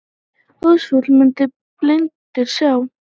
Óðfús mundi blindur sjá.